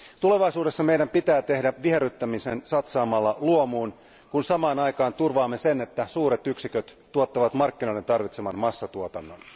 Tulevaisuudessa meidän pitää tehdä viherryttäminen satsaamalla luomuun, kun samaan aikaan turvaamme sen, että suuret yksiköt tuottavat markkinoiden tarvitseman massatuotannon.